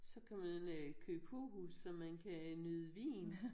Så kan man øh købe kokos og man kan nyde vin